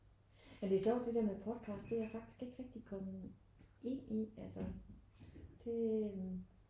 Men det er sjovt det der med podcast. Det er jeg faktisk ikke rigtig kommet ind i altså det øh